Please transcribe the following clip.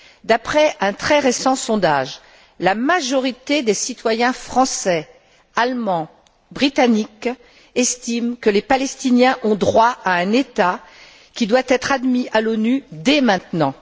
D'après un très récent sondage, la majorité des citoyens français, allemands et britanniques estiment que les Palestiniens ont droit à un État qui doit être admis à l'ONU dès maintenant.